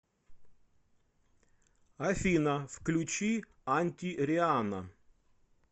афина включи анти рианна